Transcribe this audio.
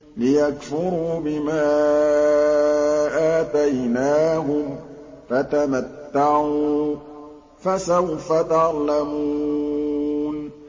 لِيَكْفُرُوا بِمَا آتَيْنَاهُمْ ۚ فَتَمَتَّعُوا ۖ فَسَوْفَ تَعْلَمُونَ